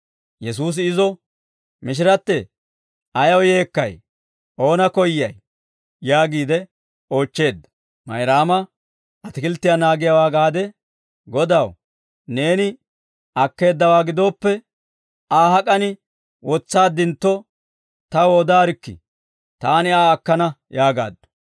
Yesuusi izo, «Mishirattee, ayaw yeekkay? Oona koyyay?» yaagiide oochcheedda. Mayraama atikilttiyaa naagiyaawaa gaade, «Godaw, neeni akkeeddawaa gidooppe, Aa hak'an wotsaaddintto, taw odaarikkii; taani Aa akkana» yaagaaddu.